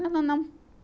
Não, não, não.